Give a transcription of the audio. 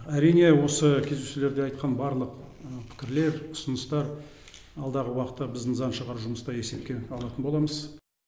әрине осы кездесулерде айтқан барлық пікірлер ұсыныстар алдағы уақытта біздің заң шығару жұмыста есепке алатын боламыз